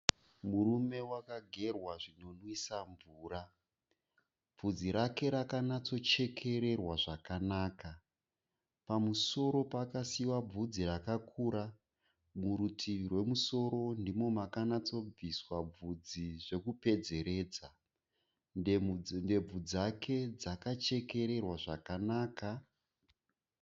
Murume wakagerwa zvinonwisa mvura. Bvudzi rake rakanatsochekererwa zvakanaka. Pamusoro pakasiiwa bvudzi rakakura. Murutivi rwemusoro ndimo makanatsobviswa bvudzi zvekupedzeredza. Ndebvu dzake dzakachekererwa zvakanaka.